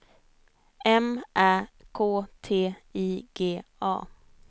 M Ä K T I G A